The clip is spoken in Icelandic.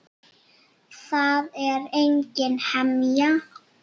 Það er engin hemja.